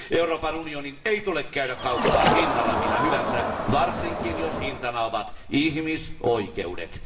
Euroopan unionin ei tule käydä kauppaa hinnalla millä hyvänsä, varsinkin jos hintana ovat ihmisoikeudet.